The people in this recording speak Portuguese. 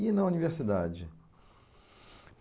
E na universidade?